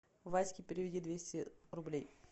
ваське переведи двести рублей